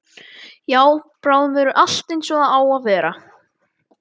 Já, bráðum verður allt einsog það á að vera.